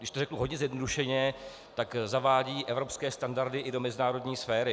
Když to řeknu hodně zjednodušeně, tak zavádí evropské standardy i do mezinárodní sféry.